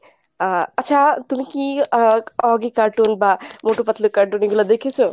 আহ আচ্ছা তুমি কী আহ oggy cartoon বা মোটু পাতলু cartoon এগুলা দেখেছো?